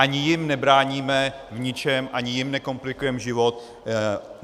Ani jim nebráníme v ničem, ani jim nekomplikujeme život.